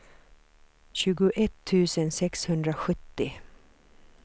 tjugoett tusen sexhundrasjuttio